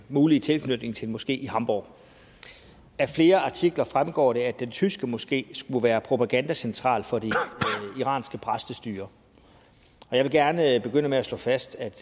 mulige tilknytning til en moské i hamborg af flere artikler fremgår det at den tyske moské skulle være propagandacentral for det iranske præstestyre jeg vil gerne begynde med at slå fast at